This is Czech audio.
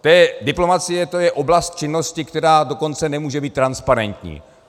Diplomacie, to je oblast činnosti, která dokonce nemůže být transparentní.